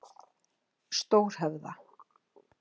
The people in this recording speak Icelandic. Stórhöfða